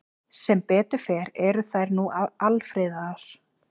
Sem betur fer eru þær nú alfriðaðar.